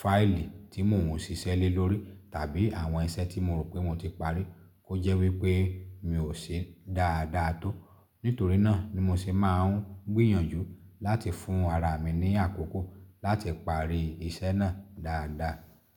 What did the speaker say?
fáìlì tí mo ò sì ṣẹ́lẹ lórí. Tabi awọn ìṣẹ́ tí mò ro pẹ́ moti parí to jẹ wí pẹ́ mí o ṣe dáàdá tó. Nítorí náà ni mo sì máa ń gbìyànjú láti fún ara mi ní àkókò láti parí iṣẹ́ náà dáadáa.